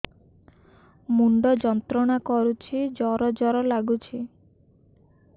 ମୁଣ୍ଡ ଯନ୍ତ୍ରଣା କରୁଛି ଜର ଜର ଲାଗୁଛି